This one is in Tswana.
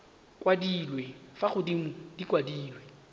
kwadilwe fa godimo di kwadilwe